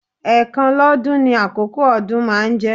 Ẹ̀ẹ̀kan lọ́dún ní àkókó ọdún máa ń jẹ́